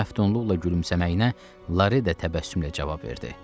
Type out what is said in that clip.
Onun məftunluqla gülümsəməyinə Lare də təbəssümlə cavab verdi.